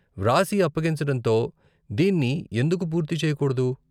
వ్రాసి, అప్పగించటంతో దీన్ని ఎందుకు పూర్తి చేయకూడదు?